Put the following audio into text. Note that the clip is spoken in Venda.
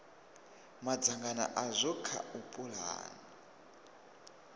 madzangano azwo kha u pulana